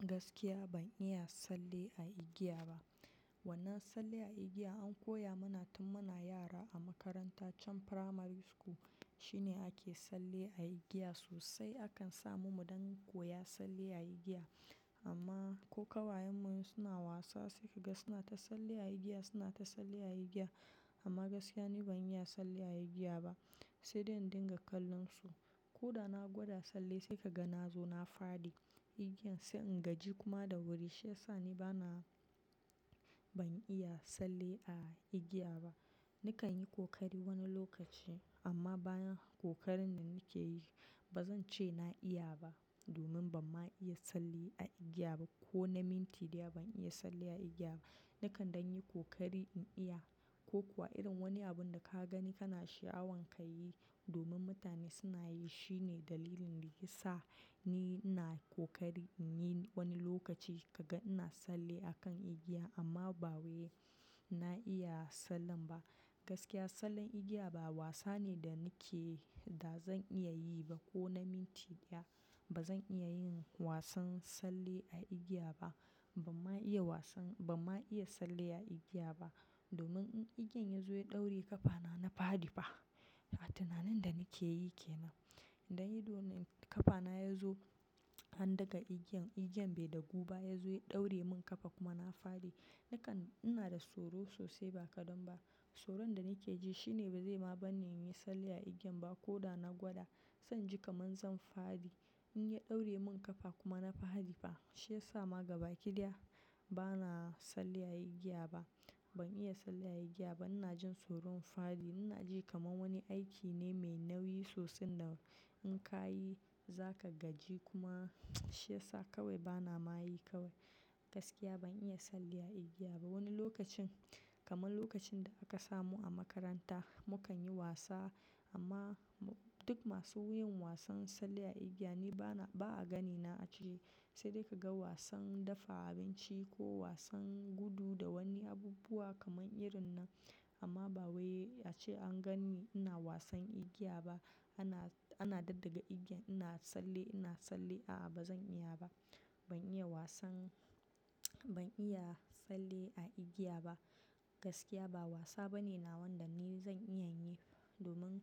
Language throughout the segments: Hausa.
Gaskiya ban iya tsalle a igiya ba. Wannan tsalle a igiya an koya mana tun muna yara a makarantar primary school. Shine ake tsalle a igiya sosai akan sa mu mu dankoya tsallw a igiya. Amma ko kawayan mu suna wasa sai ka ga suna ta tsalle a igiya suna ta tsalle a igiya amma gaskiya ni ban iya tsalle a igiya ba. Sai dai in dinga kallon su ko da na gwada tsalle sai ka ga na zo na fadi. Igiyan sai in gaji kuma da wuri. Shi yasa ni bana, ban iya tsalle a igiya ba. Nakan yi kokari wani lokaci amma bayan kokarin da nake yi ba zan ce na iya ba. Domin ban ma iya tsalle a igiya ba ko na minti ɗaya ban iya tsalle a igiya ba. Nakan don yi kokari in iya ko kuwa irin wani abun da ka gani kana sha'awan ka yi domin mutane suna yi. Shine dalilin da ya sa ni ina kokari in yi wani lokaci kaga ina tsalle a kan igiya amma ba wai na iya tsallen ba. Gaskiya tsallen igiya ba wasa ne da nake da zan iya yi ba ko na minti ɗaya. Ba zan iya yin wasan tsalle a igiya ba. Ban ma iya wasan, ba ma iya tsalle a igiya ba. Domin in igiyan ya zo ya ɗauri ƙafana na fadi fa. A tunanin da nake yi kenan. Idan ya zo ƙafana ya zo an daga igiyan, igiyan bai da guba ya zo ya ɗauri min ƙafa kuma na fadi. Nakan, ina da tsoro sosai ba kadan ba. Tsoron da nake ji shine ba zai ma bani yin tsalle a igiyan ba ko da na gwada. Zan ji kamar zan fadi in ya ɗaure min ƙafa kuma na fadi fa. Shi ya sa ma gaba ki ɗaya bana tsalle a igiya ba. Ban iya tsalle a igiya ba. Ina jin tsoron fadi. Ina ji kamar wani aiki ne mai nauyi sosai da in ka yi za ka gaji kuma shi ya sa kawai bana ma yi kawai. Gaskiya ban iya tsalle a igiya ba. Wani lokacin kamar lokacin da aka samu a makaranta mu kan yi wasa amma duk masu yin wasan tsalle a igiya ni bana, ba'a gani na a ciki. Sai dai kaga wasan dafa abinci ko wasan gudu da wani abubuwa kamar irin nan amma ba wai ace an ganni ina wasan igiya ba. Ana, ana ɗaddaga igiyan ina tsalle, ina tsalli a'a ba zan iya ba. Ban iya wasan ban iya salli a igiya ba. Gaskiya ba wasa bane nawa dan ni zan iya yi domin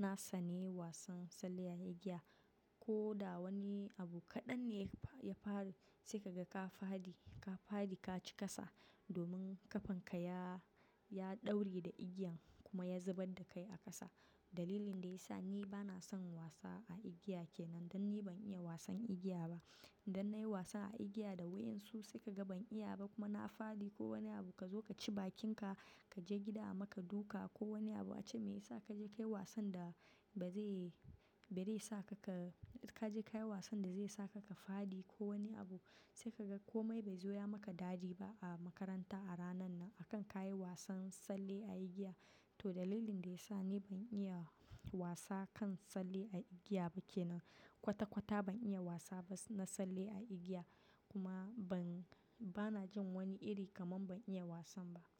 na tsani wasan tsalle a igiya ko da wani abu kaɗan ne ya fa, ya faru sai ka ga ka fadi, ka fadi ka ci ƙasa domin ƙafanka ya, ya ɗauri da igiyan kuma ya zubar da kai a ƙasa. Dalilin da ya sa ni bana son wasa a igiya kenan. Dan ni ban iya wasan igiya ba. Idan na yi wasa a igiya da wa'yansu sai ka ga ban iya ba kuma na fadi ko wani abu ka zo ka ci bakinka, ka je gida a maka duka ko wani abu ace mai ya sa ka je ka yi wasan da ba zai, ba zai sa ka ka, ka je ka yi wasan da zai sa ka ka fadi ko wani abu. Sai ka ga komai bai zo ya maka dadi ba a makaranta a ranan nan akan ka yi wasan tsalle a igiya. To dalilin da ya sa ni ban iya wasa kan salli a igiya ba kenan. Kwata kwata ban iya wasa ba na tsalli a igiya kuma ban, bana jin wani iri kamar ban iya wasan ba.